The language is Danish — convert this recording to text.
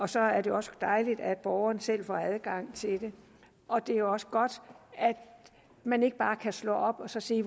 så er det også dejligt at borgerne selv får adgang til det og det er også godt at man ikke bare kan slå op og se